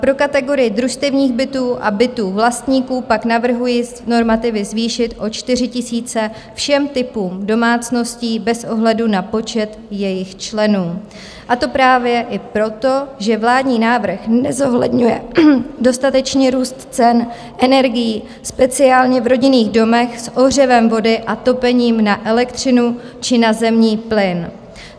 Pro kategorii družstevních bytů a bytů vlastníků pak navrhuji normativy zvýšit o 4 000 všem typům domácností bez ohledu na počet jejich členů, a to právě i proto, že vládní návrh nezohledňuje dostatečně růst cen energií, speciálně v rodinných domech s ohřevem vody a topením na elektřinu či na zemní plyn.